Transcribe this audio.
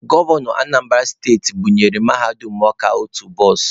Gọvanọ Anambara steti bunyere Mahadum Ọka otu bọs.